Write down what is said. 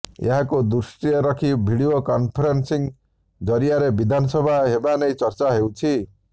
ଏହାକୁ ଦୃଷ୍ଟିରେ ରଖି ଭିଡିଓ କନଫରେନ୍ସିଂ ଜରିଆରେ ବିଧାନସଭା ହେବା ନେଇ ଚର୍ଚ୍ଚା ହେଉଛି